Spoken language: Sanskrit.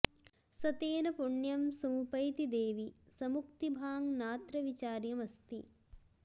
स तेन पुण्यं समुपैति देवि स मुक्तिभाङ्नात्र विचार्यमस्ति